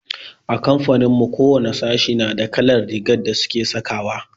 A kamfanin mu kowane sashi nada kalar rigar da suke sakawa.